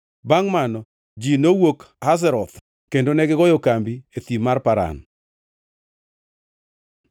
Bangʼ mano, ji nowuok Hazeroth kendo negigoyo kambi e Thim mar Paran.